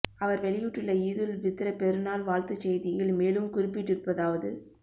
அவர் வெளியிட்டுள்ள ஈதுல் பித்ர் பெருநாள் வாழ்த்துச் செய்தியில் மேலும் குறிப்பிட்டிருப்பதாவது